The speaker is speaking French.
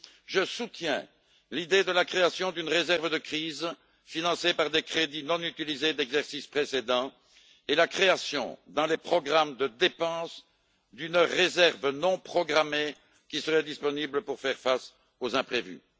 Je soutiens l'idée de la création d'une réserve de crise financée par des crédits non utilisés d'exercices précédents et la création, dans les programmes de dépenses, d'une réserve non programmée, qui serait disponible pour faire face aux imprévus.